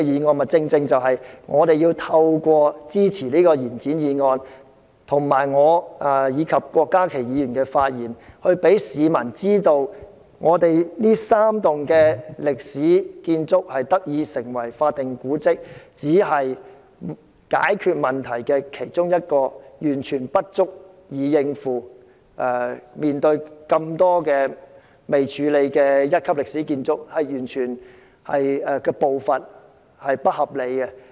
我們正正要透過支持這項延展議案，以及我和郭家麒議員的發言，讓市民知道，本港這3幢歷史建築物得以成為法定古蹟，只是解決了問題的一小部分，完全不足以應付眾多未處理的一級歷史建築物，政府處理的步伐完全不合理。